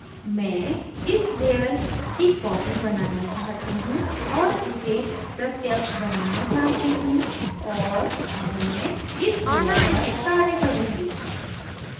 मैं इस layer की copy बनाना चाहती हूँ और इसे प्रत्यक्ष बनाना चाहती हूँ और अब मैं इस layer पर कार्य करुँगी